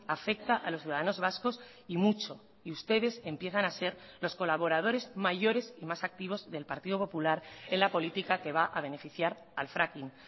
afecta a los ciudadanos vascos y mucho y ustedes empiezan a ser los colaboradores mayores y más activos del partido popular en la política que va a beneficiar al fracking